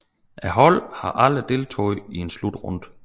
Holdet har aldrig deltaget i en slutrunde